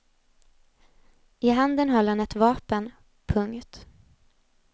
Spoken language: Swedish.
I handen höll han ett vapen. punkt